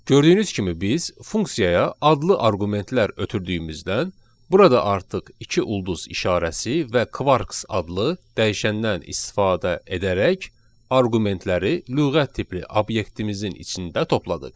Gördüyünüz kimi biz funksiyaya adlı arqumentlər ötürdüyümüzdən, burada artıq iki ulduz işarəsi və quarks adlı dəyişəndən istifadə edərək arqumentləri lüğət tipli obyektimizin içində topladıq.